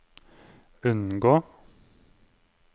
unngå